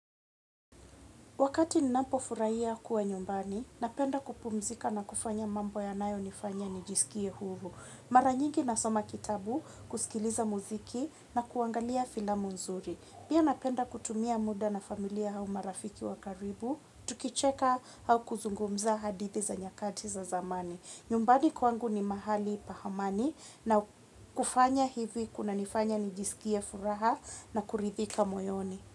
Wakati ninapo furahia kuwa nyumbani, napenda kupumzika na kufanya mambo ya nayo nifanya nijisikie huru. Maranyingi nasoma kitabu, kusikiliza muziki na kuangalia filamu nzuri. Pia napenda kutumia muda na familia au marafiki wa karibu, tukicheka au kuzungumza hadithi za nyakati za zamani. Nyumbani kwangu ni mahali pa amani na kufanya hivi kuna nifanya nijisikie furaha na kuridhika moyoni.